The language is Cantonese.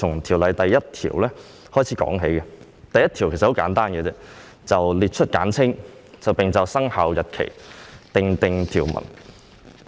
先由第1條說起，此條文很簡單，只是列出條例的簡稱及就生效日期訂定條文。